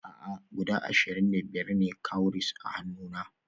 A'a guda ashirin da biyar ne na cowries a hannuna